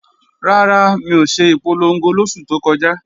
Rárá, mi ò ṣe ìpolongo lóṣù tó kọjá